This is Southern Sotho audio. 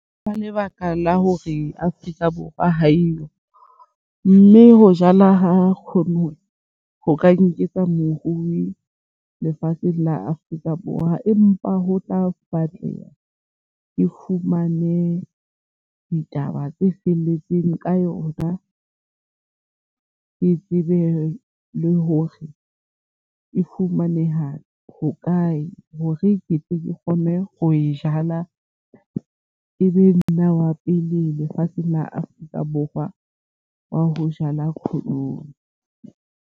Ka lebaka la hore Afrika Borwa ha eyo, mme ho jala ha khothone ho ka nketsa morui lefatsheng la Afrika Borwa. Empa ho tla batleha ke fumane ditaba tse felletseng ka yona ke tsebe le hore e fumaneha hokae hore ketle ke kgone ho e jala. E be nna wa pele lefatsheng la Afrika Borwa wa ho jala khotoni.